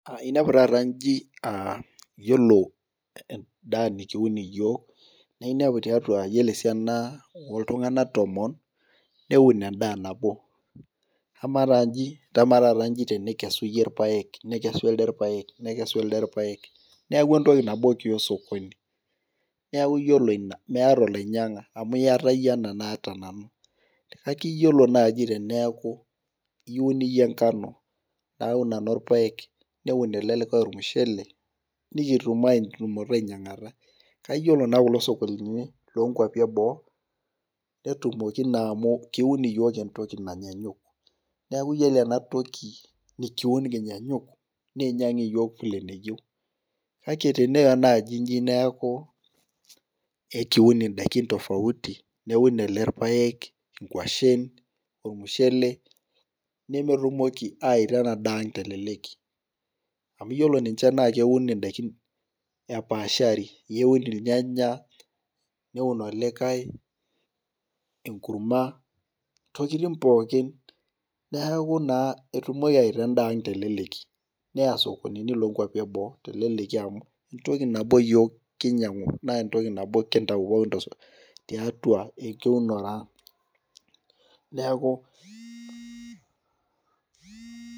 Inepu taata ayiolo endaa nikiun yiok, naa inepu yiolo tiatua esiana oltunganak tomon ,neun endaa nabo, ama taaata tenikess iyieu irpaek nekesu elde irpaek neeku entoki nabo kiya osokuoni neeku yiolo ina meeta olainyanga amu iyata yie ena naata nanu, kake yiolo naaji teneeku iun iyieu enkano ,naun nanu irpaek neun ele likae ormushele nikitum ainyangata ,kake yiolo naa ele sokonini lookwapi ebook netumoki naa amu kiun yiok entoki nayaanyuk ,neeku yiolo ena toki nikiun kinyaanyuk nainyang yiok vile eneyieu ,kake tenaa njii naaji neeku ekiun ndaiki tofauti ,neun ele irpaek ,nkwashen ,ormushele nemetumoki awaita ena daa teleleki .amu yiolo ninche naa keuni ndaiki epaashari ,keuni irnyanya neun olikae enkurma ntokiting pookin neeku naa etumoki awaita endaa ang teleleki. neya sokonini lookwapi ebo amu entoki nabo yiook kinyangu naa entoki nabo yiok kintau tiatua eunore ang.